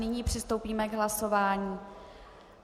Nyní přistoupíme k hlasování.